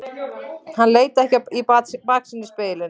Hann leit ekki í baksýnisspegilinn.